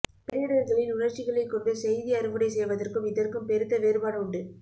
பேரிடர்களில் உணர்ச்சிகளைக்கொண்டு செய்தி அறுவடை செய்வதற்கும் இதற்கும் பெருத்த வேறுபாடு உண்டு